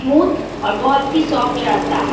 Smooth और बहुत ही सॉफ्ट रहता हैं।